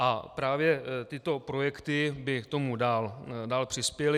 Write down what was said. A právě tyto projekty by k tomu dál přispěly.